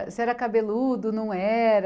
Você era cabeludo, não era?